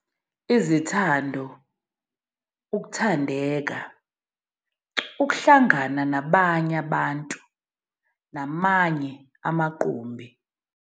Izithando, ukuthandeka, ukuhlangana nabanye abantu, namanye amaqumbi.